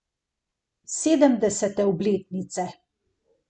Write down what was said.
Sedemdesete obletnice.